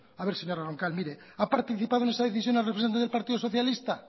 a ver señora roncal mire ha participado en esta decisión el representante del partido socialista